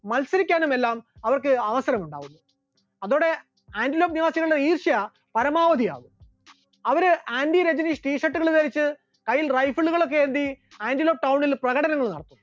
മത്സരിക്കാനുമെല്ലാം അവസരമുണ്ടായി, അതോടെ ആന്റിലോക്ക് നിവാസികളുടെ ഈർഷ്യ പരമാവധി ആകുന്നു, അവർ ആന്റി-രജനീഷ് T Shirt കൾ ധരിച്ച് കയ്യിൽ rifle കൾ ഒക്കെ ഏന്തി ആന്റിലോക്ക് town ൽ പ്രകടനങ്ങൾ നടത്തി.